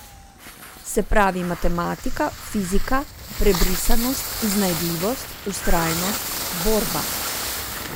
Se pravi matematika, fizika, prebrisanost, iznajdljivost, vztrajnost, borba.